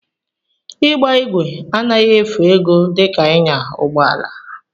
Ịgba ígwè anaghị efu ego dika ịnya ụgbọala